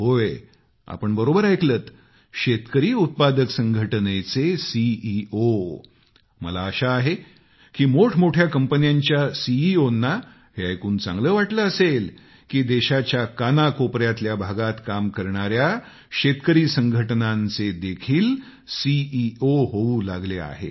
होय आपण बरोबर ऐकलंत शेतकरी उत्पादक संघटनेचे सी ई ओ मला आशा आहे की मोठमोठ्या कंपन्यांच्या सी ईओ ना हे ऐकून चांगलं वाटलं असेल की देशाच्या कानाकोपऱ्यातल्या भागात काम करणाऱ्या शेतकरी संघटनांचे देखील सी ई ओ असतात